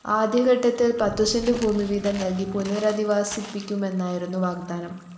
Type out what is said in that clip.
ആദ്യഘട്ടത്തില്‍ പത്തുസെന്റ് ഭൂമിവീതം നല്‍കി പുനരധിവസിപ്പിക്കുമെന്നായിരുന്നു വാഗ്ദാനം